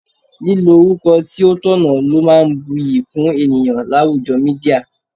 Lílo orúkọ tí ó tọ̀nà ló máa ń bu'yi kún ènìyàn láwùjọ Mídíà.